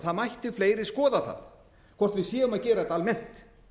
það mættu fleiri skoða það hvort við séum að gera þetta almennt